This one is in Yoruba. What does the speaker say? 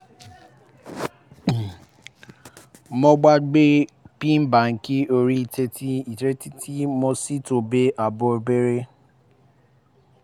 mo gbàgbé pin báńkì orí íńtánẹ́ẹ̀tì íńtánẹ́ẹ̀tì mo sì tún ààbò bẹ̀rẹ̀